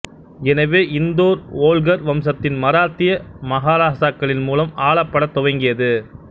எனவே இந்தோர் ஓல்கர் வம்சத்தின் மராத்திய மகாராசாக்களின் மூலம் ஆளப்படத் துவங்கியது